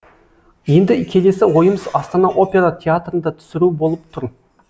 енді келесі ойымыз астана опера театрында түсіру болып тұр